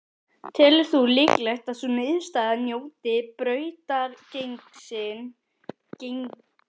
Telur þú líklegt að sú niðurstaða njóti brautargengis hjá meirihlutanum?